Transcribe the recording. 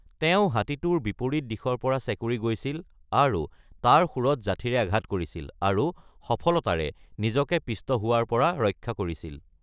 তেওঁ হাতীটোৰ বিৰুদ্ধে উঠিছিল আৰু ইয়াৰ শুঁড়ত যাঠীৰে আঘাত কৰিছিল, আৰু সফলতাৰে নিজকে থেঁতাল্‌ খোৱাৰ পৰা ৰক্ষা কৰিছিল।